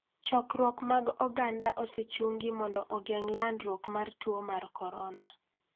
Chokruok mag oganda osechungi mondo ogeng' landruok mar tuo mar corona.